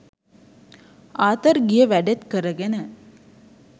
Arthur ගිය වැඩෙත් කරගෙන